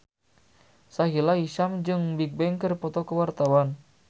Sahila Hisyam jeung Bigbang keur dipoto ku wartawan